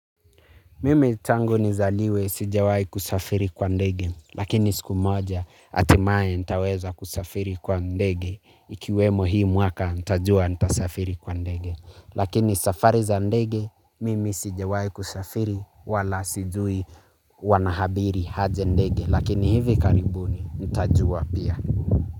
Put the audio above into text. Mimi tangu ni zaliwe sijawai kusafiri kwa ndege, lakini siku moja hatimae nitaweza kusafiri kwa ndege, ikiwemo hii mwaka nitajua nitasafiri kwa ndege. Lakini safari za ndege, mimi sijawai kusafiri wala sijui wanahabiri haje ndege, lakini hivi karibuni ntajua pia.